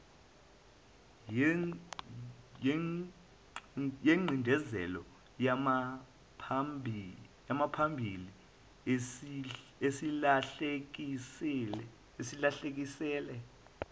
yengcindezelo yangaphambili esilahlekisele